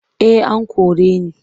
Eh an kore ni.